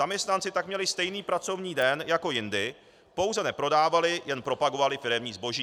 Zaměstnanci tak měli stejný pracovní den jako jindy, pouze neprodávali, jen propagovali firemní zboží.